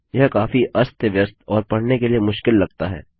यह काफी अस्तव्यस्त और पढ़ने के लिए मुश्किल लगता है